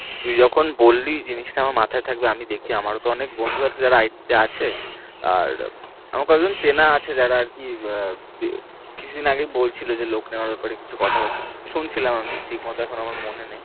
তুই যখন বল্লী জিনিস টা আমার মাথায়ে থাকবে আমি দেখছি, আমারো তো অনেক বন্ধু আছে যারা it তে আছে আর আমার কতজন চেনা আছে যারা আর কি কিছুদিন আগেই বলছিল যে লোক নেবার ব্যাপারে কিছু কথা বাত্রা, শুনছিলাম আমি, ঠিক মতন এখন আমার আর মনে নেই